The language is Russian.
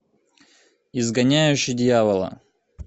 изгоняющий дьявола